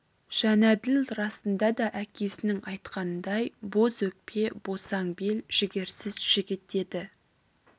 жәнәділ расында да әкесінің айтқанындай боз өкпе босаң бел жігерсіз жігіт еді